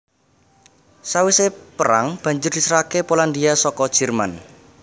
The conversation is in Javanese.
Sawisé perang banjur diserahaké Polandia saka Jerman